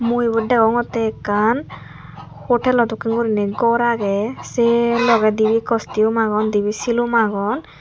mui ebot degongete ekkan hotel lo dokken gurine gor aage seh logeh dibe costume agon dibe sulom agon.